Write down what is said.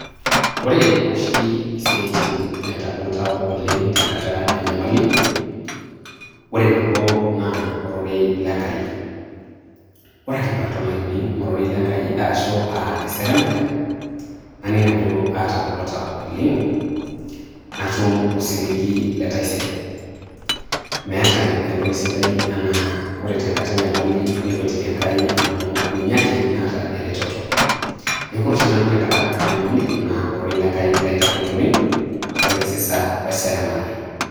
Ore oshi isiatin naitagol tau oleng tenkata enyamali, ore nabo naa ororei lenkai ore ake paton aining ororei lenkai arashu aa eseremare naning ajo atangolo tau oleng natum osiligi letaisere ,meeta entoki sidai ena ore tenkata enyamali nikwetiki enkai amu ninye ake naata eretoto, niaku ore oshi nanu tenkata enyamali na ororei lenkai laitagol oleng wenkisisa weseremare.